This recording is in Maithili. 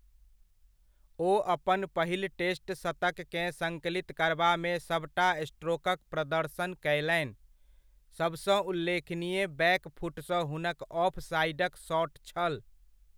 ओ अपन पहिल टेस्ट शतककेँ सङ्कलित करबामे सभटा स्ट्रोकक प्रदर्शन कयलनि, सभसँ उल्लेखनीय बैक फुटसँ हुनक ऑफ साइडक शॉट छल।